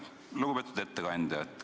Lugupeetud ettekandja!